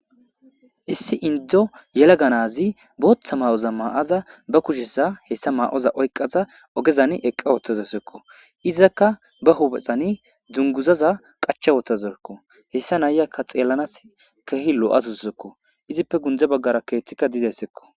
Issi indzo yelaganazi booththa ma7oza maa7aza ba kushesa hessa ma7oza oyqaza ogezan eqqa ooththazesekko izakka ba huphexani dzunguzaza qacha wotazekko hessa nayakka xeellanas keehi lo7asussekko izippe gundze baggara keeththikka dizayssekko.